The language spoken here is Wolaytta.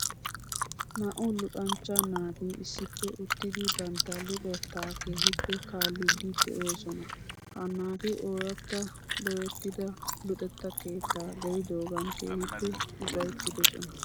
Naa'u luxanchcha naati issippe uttidi bantta luxettaa keehippe kaaliiddi de'oosona. He naati ooratta dooyettida luxetta keettaa gelidoogan keehippe ufayttidosona .